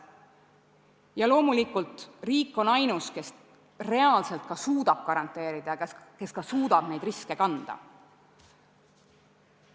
Ja loomulikult riik on ainus, kes reaalselt suudab selle garanteerida, kes ka suudab neid riske kanda.